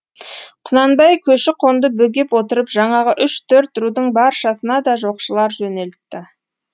құнанбай көші қонды бөгеп отырып жаңағы үш төрт рудың баршасына да жоқшылар жөнелтті